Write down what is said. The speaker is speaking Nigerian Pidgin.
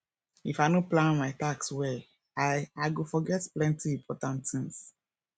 if i no plan my tasks well i i go forget plenty important things